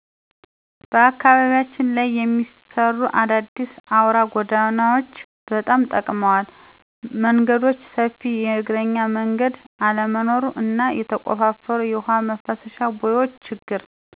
በአካባቢያችን ላይ የሚሰሩ አዳዲስ አውራ ጎዳናዎች ጎዳናዎች በጣም ጠቅመዋል። መንገዶች ሰፊ የእግረኛ መንገድ አለመኖሩ እና የተቆፋፈሩ የውሃ ማፋሰሻ ቦዮች ችግር